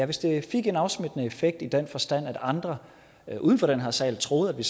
hvis det fik en afsmittende effekt i den forstand at andre uden for den her sal troede at vi